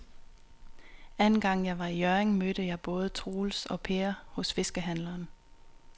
Anden gang jeg var i Hjørring, mødte jeg både Troels og Per hos fiskehandlerne.